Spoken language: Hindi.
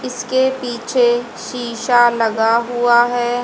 इसके पीछे शीशा लगा हुआ है।